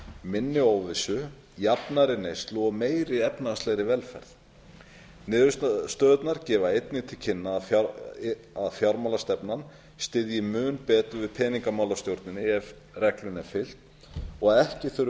minni óvissu jafnari neyslu og meiri efnahagslegri velferð niðurstöðurnar gefa einnig til kynna að fjármálastefnan styðji mun betur við peningamálastjórnina ef reglunni er fylgt og að ekki þurfi